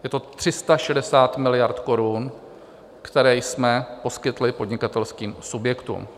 Je to 360 miliard korun, které jsme poskytli podnikatelským subjektům.